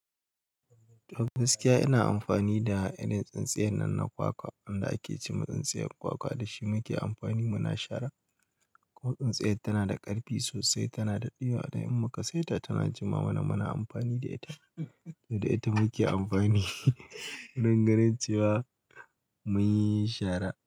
Gaskiya ina amfani da irin tsintsiyar nan na kwakwa wanda ake ce ma tsintsiyar kwakwa da shi muke amfani muna shara. Ko tsintsiyar tana da ƙarfi sosai, tana da ɗiba da ihmma, ka sai ta tana jima mana muna amfani da ita, da ita muke amfani wurin ganin cewa mun yi shara.